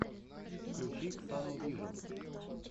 включи ксану вижн